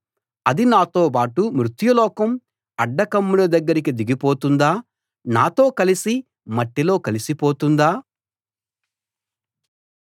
అది నాతోబాటు మృత్యులోకం అడ్డకమ్ముల దగ్గరికి దిగిపోతుందా నాతో కలసి మట్టిలో కలసిపోతుందా